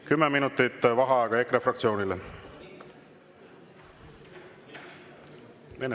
10 minutit vaheaega EKRE fraktsioonile.